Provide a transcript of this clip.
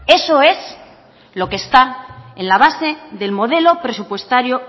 eso es lo que está en la base del modelo presupuestario